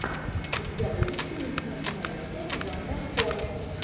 у тебя будет приличная кинолента жанра хоррор